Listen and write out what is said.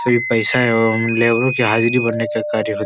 सिर्फ पैसा है और लेबरो की हाजरी भरने के कार्य होता --